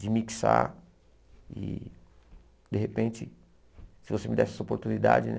De mixar e, de repente, se você me desse essa oportunidade, né?